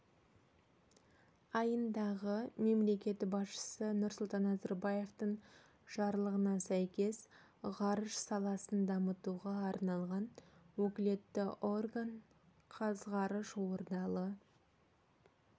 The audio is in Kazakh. айындағы мемлекет басшысы нұрсұлтан назарбаевтың жарлығына сәйкес ғарыш саласын дамытуға арналған өкілетті орган қазғарыш ордалы